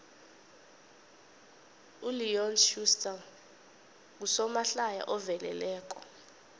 uleon schuster ngusomahlaya oveleleko